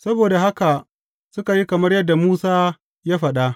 Saboda haka suka yi kamar yadda Musa ya faɗa.